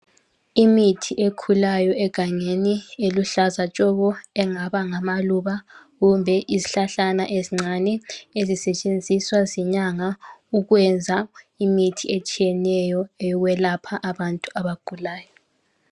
Imithi ekhulayo egangeni, eluhlaza tshoko engaba ngamaluba, kumbe izihlahlana ezincane ebisetshenziswa zinyanga ukwenza imithi etshiyeneyo eyokwelapha abantu abagulayo.